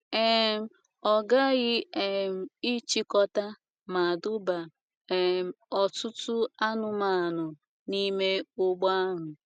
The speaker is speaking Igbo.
um Ọ ghaghị um ịchịkọta ma duba um ọtụtụ anụmanụ n’ime ụgbọ ahụ.